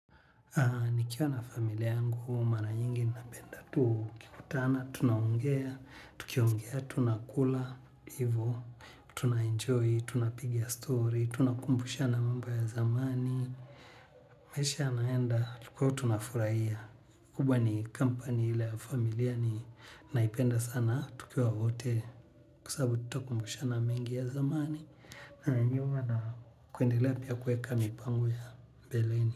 Nikiwa na familia yangu, huwa mara nyingi napenda tu. Kikutana, tunaongea, tukiongea, tunakula, hivyo. Tunaenjoy, tunapigia stori, tunakumbusha na mambo ya zamani. Maisha yanaenda, tukiwa tunafurahia. Kubwa ni kampani ile ya familia ni naipenda sana, tukiwa wote. Kwa sababu twakumbushana mengi ya zamani. Na nyuma na kuendelea pia kueka mipango ya mbeleni.